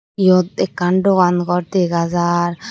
yot ekkan dogan gor dega jar.